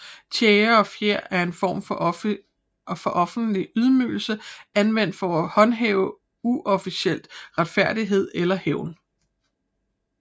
Tjære og fjer er en form for offentlig ydmygelse anvendt for at håndhæve uofficiel retfærdighed eller hævn